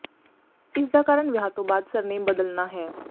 ਇਸ ਦਾ ਕਾਰਨ ਵਿਆਹ ਤੋਂ ਬਾਅਦ ਸਰ ਨੇਮ ਬਦਲਣਾ ਹੈ